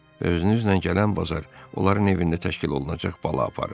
Və özünüzlə gələn bazar onların evində təşkil olunacaq bala aparın.